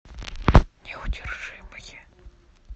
неудержимые